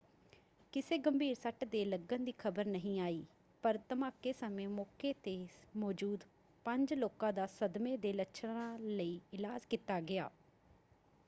ਕਿਸੇ ਗੰਭੀਰ ਸੱਟ ਦੇ ਲੱਗਣ ਦੀ ਖ਼ਬਰ ਨਹੀਂ ਆਈ ਪਰ ਧਮਾਕੇ ਸਮੇਂ ਮੌਕੇ 'ਤੇ ਮੌਜੂਦ ਪੰਜ ਲੋਕਾਂ ਦਾ ਸਦਮੇ ਦੇ ਲੱਛਣਾਂ ਲਈ ਇਲਾਜ ਕੀਤਾ ਗਿਆ।